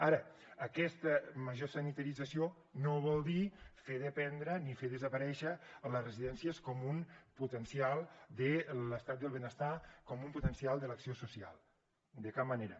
ara aquesta major sanitarització no vol dir fer dependre ni fer desaparèixer les residències com un potencial de l’estat del benestar com un potencial de l’acció social de cap manera